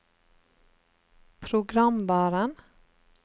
programvaren